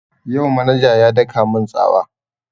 Yau manaja ya daka mun tsawa